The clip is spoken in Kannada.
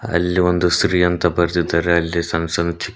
ಅಲ್ಲಿ ಒಂದು ಶ್ರೀ ಅಂತ ಬರೆದಿದ್ದಾರೆ ಅಲ್ಲಿ ಸಣ್ಣ ಸಣ್ಣ.